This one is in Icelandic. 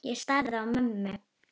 Ég starði á mömmu.